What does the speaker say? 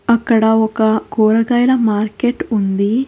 అక్కడ ఒక కూరగాయాల మార్కెట్ ఉంది.